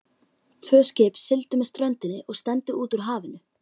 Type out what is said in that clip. Tvö skip sigldu með ströndinni og stefndu út úr hafinu.